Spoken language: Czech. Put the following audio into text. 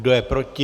Kdo je proti?